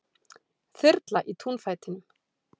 Þyrla í túnfætinum